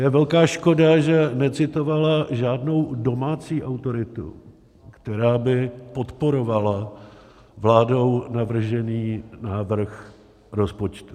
Je velká škoda, že necitovala žádnou domácí autoritu, která by podporovala vládou navržený návrh rozpočtu.